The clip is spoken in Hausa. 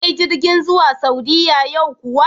Akwai jirgin zuwa Saudiya yau kuwa?